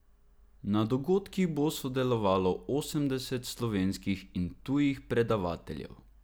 Na dogodkih bo sodelovalo osemdeset slovenskih in tujih predavateljev.